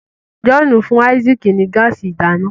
John fún Isaac ní gáàsì ìdáná.